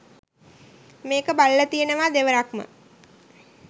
මේක බලල තියෙනවා දෙවරක්ම.